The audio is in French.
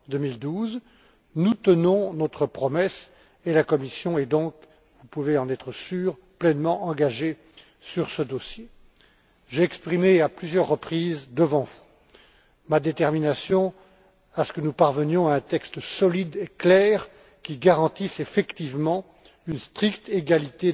2012. Nous tenons notre promesse et la Commission est donc, vous pouvez en être sûrs, pleinement engagée sur ce dossier. J'ai exprimé à plusieurs reprises, devant vous, ma détermination à ce que nous parvenions à un texte solide et clair, qui garantisse, effectivement, une stricte égalité